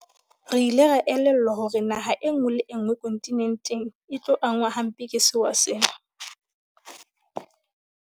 Re ile ra elellwa hore naha enngwe le enngwe kontinenteng e tlo angwa hampe ke sewa sena.